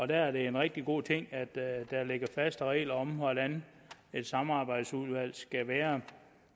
der er det en rigtig god ting at der ligger faste regler om hvordan et samarbejdsudvalg skal være